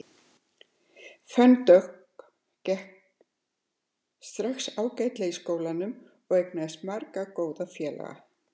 Fönn Dögg gekk strax ágætlega í skólanum og eignaðist marga góða félaga.